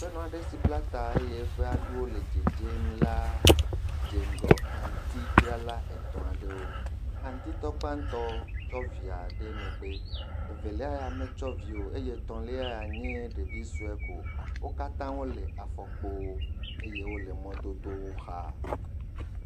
Aƒenɔ aɖe sib la ta eye eƒe aɖuwo le dzedzem la dze ŋgɔ aŋutidzrala etɔ̃ aɖewo, aŋutitɔ gbãtɔ tsɔ evia ɖe megbe, evelia ya metsɔ vi o, eye etɔ̃lia ya nye ɖevi sue ko, wo katã wole afɔkpo eye wole mɔdodo la xa.